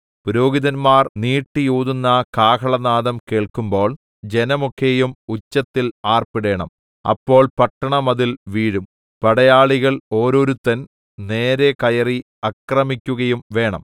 പുരോഹിതന്മാർ നീട്ടിയൂതുന്ന കാഹളനാദം കേൾക്കുമ്പോൾ ജനമൊക്കെയും ഉച്ചത്തിൽ ആർപ്പിടേണം അപ്പോൾ പട്ടണമതിൽ വീഴും പടയാളികൾ ഓരോരുത്തൻ നേരെ കയറി ആക്രമിക്കുകയുംവേണം